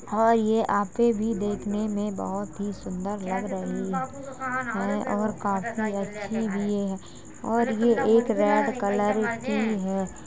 और ये आपे भी देखने में बहोत ही सुन्दर लग रही है और काफी अच्छी भी है और ये एक रेड कलर की है।